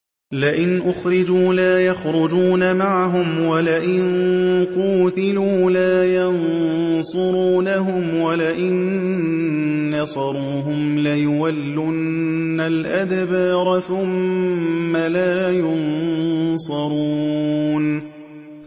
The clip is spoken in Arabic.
لَئِنْ أُخْرِجُوا لَا يَخْرُجُونَ مَعَهُمْ وَلَئِن قُوتِلُوا لَا يَنصُرُونَهُمْ وَلَئِن نَّصَرُوهُمْ لَيُوَلُّنَّ الْأَدْبَارَ ثُمَّ لَا يُنصَرُونَ